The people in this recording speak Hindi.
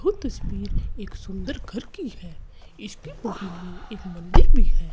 वो तस्वीर एक सुंदर घर की है इसके बगल में एक मंदिर भी है।